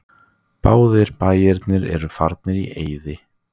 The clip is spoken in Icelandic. Báðir bæirnir eru farnir í eyði.